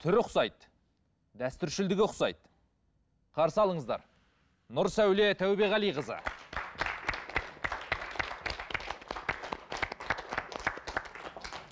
түрі ұқсайды дәстүршілдігі ұқсайды қарсы алыңыздар нұрсәуле тәубеқалиқызы